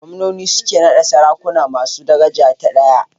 Gwamnoni su ke naɗa sarakuna masu daraja ta ɗaya.